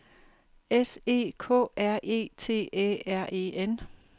S E K R E T Æ R E N